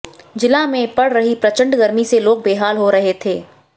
जिला में पड़ रही प्रचंड गर्मी से लोग बेहाल हो रहे थे